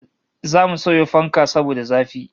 Zamu sayo fanka saboda zafi